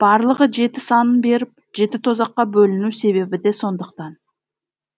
барлығы жеті санын беріп жеті тозаққа бөліну себебі де сондықтан